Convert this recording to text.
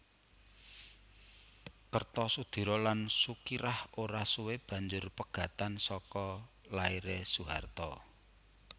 Kertosudiro lan Sukirah ora suwe banjur pegatan saka lairé Soeharto